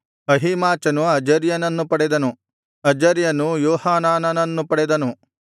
ಅಹೀಮಾಚನು ಅಜರ್ಯನನ್ನು ಪಡೆದನು ಅಜರ್ಯನು ಯೋಹಾನಾನನನ್ನು ಪಡೆದನು